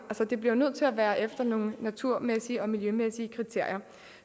det bliver nødt til at være efter nogle naturmæssige og miljømæssige kriterier